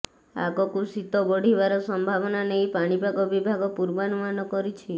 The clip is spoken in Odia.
ଆଗକୁ ଶୀତ ବଢ଼ିବାର ସମ୍ଭାବନା ନେଇ ପାଣିପାଗ ବିଭାଗ ପୂର୍ବାନୁମାନ କରିଛି